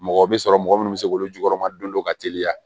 Mɔgɔ bɛ sɔrɔ mɔgɔ minnu bɛ se k'olu jukɔrɔma don dɔ ka teliya